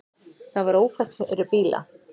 Það var ófært fyrir bíla.